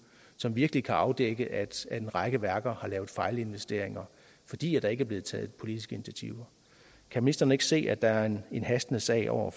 som virkelig kan afdække at en række værker har lavet fejlinvesteringer fordi der ikke er blevet taget politiske initiativer kan ministeren ikke se at der er en hastende sag over